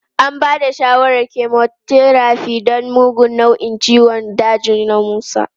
An ba da shawarar chemotherapy don mugun nau'in ciwon daji na Musa.